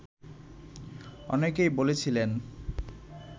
অনেকেই বলেছিলেন